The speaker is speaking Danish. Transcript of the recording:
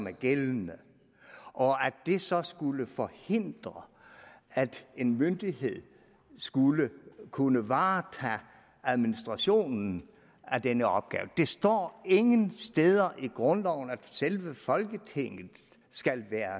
er gældende og at det så skulle forhindre at en myndighed skulle kunne varetage administrationen af denne opgave der står ingen steder i grundloven at selve folketinget skal være